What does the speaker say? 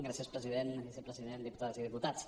gràcies president vicepresident diputades i diputats